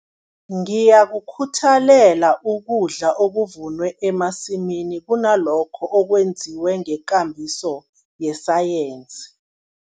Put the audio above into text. Ngiyakukhuthalela ukudla okuvunwe emasimini kunalokho okwenziwe ngekambiso yesayensi.